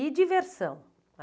E diversão?